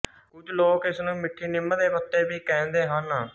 ਕੁੱਝ ਲੋਕ ਇਸਨੂੰ ਮਿੱਠੀ ਨਿੰਮ ਦੇ ਪੱਤੇ ਵੀ ਕਹਿੰਦੇ ਹਨ